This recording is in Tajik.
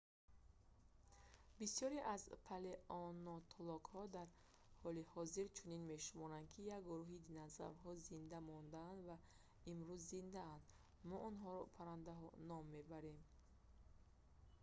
бисёре аз палеонтологҳо дар ҳоли ҳозир чунин мешуморанд ки як гурӯҳи динозаврҳо зинда мондаанд ва имрӯз зиндаанд мо онҳоро паррандаҳо ном мебарем